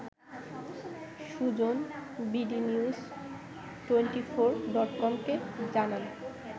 Sujan bdnews twenty four ডটকমকে জানান